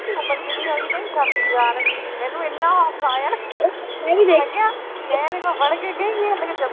ਮੈਂ ਕਿਆ ਉਹਦੀ ਉਮਰ ਕਿੰਨੀ ਹੋਗੀ, ਕਹਿੰਦੀ ਛੱਬੀ ਸਾਲ। ਮੈਨੂੰ ਇੰਨਾ ਹਸਾਇਆ ਮੈਂ ਉਹਦੇ ਕੋਲ ਖੜ੍ਹ ਕੇ